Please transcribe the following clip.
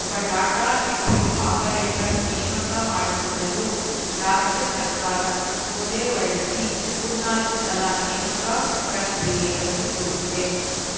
ಒಬ್ಬ data entry operator ನೇಮಕ ಮಾಡಿಕೊಳ್ಳಲು ರಾಜ್ಯ ಸರ್ಕಾರ ಸುತ್ತೋಲೆ ಹೊರಡಿಸಿ ಮೂರ್ನಾಲ್ಕು ಸಲ ನೇಮಕ ಪ್ರಕ್ರಿಯೆ ರದ್ದುಗೊಳಿಸಿದೆ